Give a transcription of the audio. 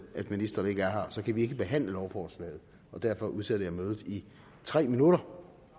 at ministeren ikke er her og så kan vi ikke behandle lovforslaget og derfor udsætter jeg mødet i tre minutter